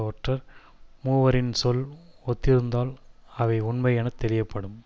ஒற்றர் மூவரின் சொல் ஒத்திருந்தால் அவை உண்மை என தெளியப்படும்